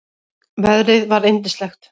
Veðrið var yndislegt.